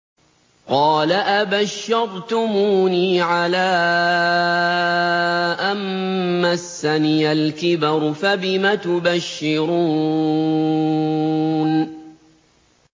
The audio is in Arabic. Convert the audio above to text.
قَالَ أَبَشَّرْتُمُونِي عَلَىٰ أَن مَّسَّنِيَ الْكِبَرُ فَبِمَ تُبَشِّرُونَ